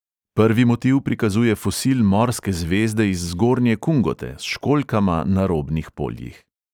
Prvi motiv prikazuje fosil morske zvezde iz zgornje kungote, s školjkama na robnih poljih.